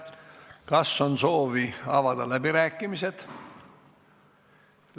Kas on soovi pidada läbirääkimisi?